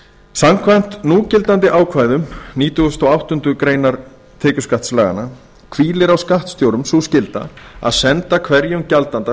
samkvæmt núgildandi ákvæðum nítugasta og áttundu grein laga númer níutíu sjöunda maí tvö þúsund og þrjú hvílir á skattstjórum sú skylda að senda hverjum gjaldanda